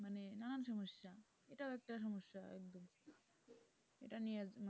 এটা নিয়ে,